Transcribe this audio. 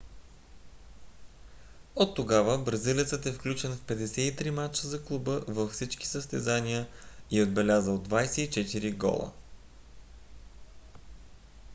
от тогава бразилецът е включен в 53 мача за клуба във всички състезания и е отбелязал 24 гола